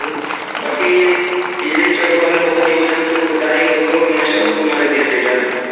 ବାକି ବିଜଲୀ ଚଡକ୍ ହେଲେ ବହୁ ଜୀବଜନ୍ତୁ ଗାଇ ଗୋରୁ ମଣିଷ କୁ ମାରିଦିଏ ସେ